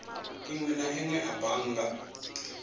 inwe na inwe a bannga